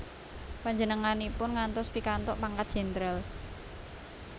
Panjenenganipun ngantos pikantuk pangkat jendral